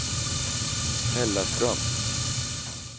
Hällaström